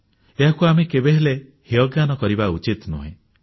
ଏହାକୁ ଆମେ କେବେହେଲେ ହେୟଜ୍ଞାନ କରିବା ଉଚିତ ନୁହେଁ